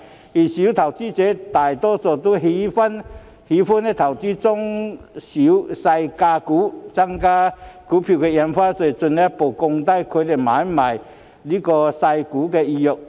然而，小投資者大多喜歡投資中細價股，增加印花稅會進一步降低他們買賣細價股的意欲。